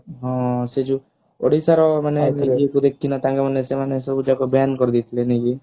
ହଁ ସେ ଯଊ ଓଡିଶାର ମାନେ ଦେଖିଛୁ ନା ତାଙ୍କ ମାନେ ସେମାନେ ସବୁ ଯାକ ban କରିଦେଇଥିଲେ ନାଇ କି